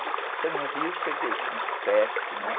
Porque no Rio eu cheguei com uns sete, né?